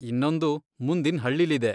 ಇನ್ನೊಂದು ಮುಂದಿನ್ ಹಳ್ಳಿಲಿದೆ.